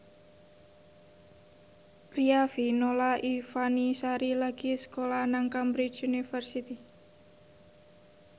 Riafinola Ifani Sari lagi sekolah nang Cambridge University